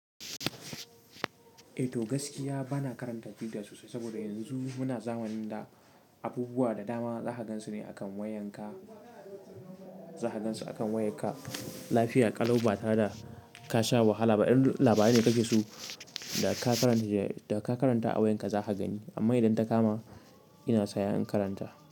Eh to gaskiya bana karanta twitter sosai saboda yanzu muna zamanin da abubuwa da dama za ka gansu ne a kan wayan ka, za ka gansu a kan wayan ka. Lafiya ƙalaubatare da ka sha wahala ba in labari ne kake so da ka karanta shi da ka karanta a wayan ka za ka gani amma idan ta kama ina saya in karanta.